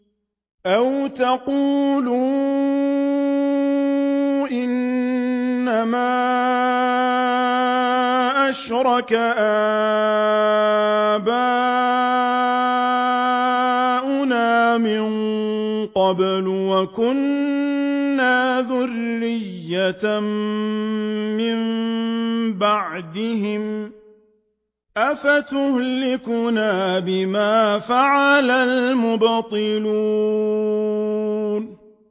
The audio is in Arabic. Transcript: أَوْ تَقُولُوا إِنَّمَا أَشْرَكَ آبَاؤُنَا مِن قَبْلُ وَكُنَّا ذُرِّيَّةً مِّن بَعْدِهِمْ ۖ أَفَتُهْلِكُنَا بِمَا فَعَلَ الْمُبْطِلُونَ